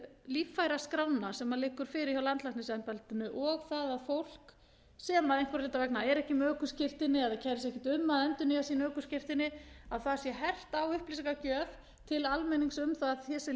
um líffæraskrána sem liggur fyrir hjá landlæknisembættinu og það að að fólk sem einhverra hluta vegna er ekki með ökuskírteini eða kærir sig ekkert um að endurnýja sín ökuskírteini að það að sé hert á upplýsingagjöf til almennings um það að þessi